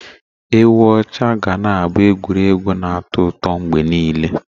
Egwú oche ga na-abụ egwuregwu na atọ ụtọ mgbe niile.